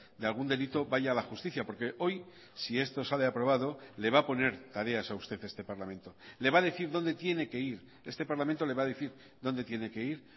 de algún delito vaya a la justicia porque hoy si esto sale aprobado le va a poner tareas a usted este parlamento le va a decir dónde tiene que ir este parlamento le va a decir dónde tiene que ir